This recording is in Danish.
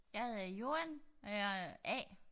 Jeg hedder Joan og jeg er A